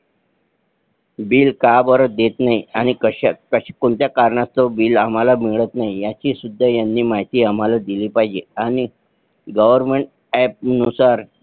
Bill का बर देत नाही आणि कोणत्या कारणास्तव Bill आम्हाला मिळत नाही ह्या ची सुद्धा माहिती आम्हाला दिली पाहिजे आणि Government App नुसार